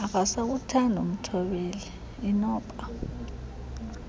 akasakuthandi umthobleli inoba